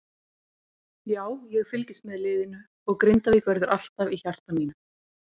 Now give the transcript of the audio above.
Já, ég fylgist með liðinu og Grindavík verður alltaf í hjarta mínu.